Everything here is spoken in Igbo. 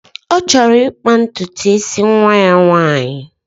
Ọ chọrọ ịkpa ntutu isi nwa ya nwaanyị